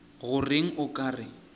go reng o ka re